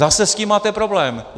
Zase s tím máte problém.